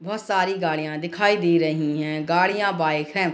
बहुत सारी गाड़िया दिखाई दे रही हैं | गाड़िया बाइक हैं |